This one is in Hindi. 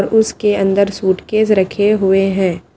उसके अंदर सूटकेस रखे हुए हैं।